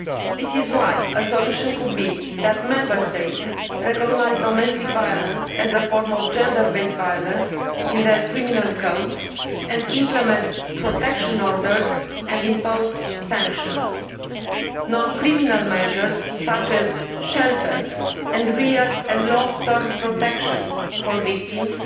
This is why a solution could be for Member States to recognise domestic violence as a form of gender based violence in their criminal codes and implement protection orders and impose sanctions. Non criminal measures, such as shelters and real and long term protection for victims,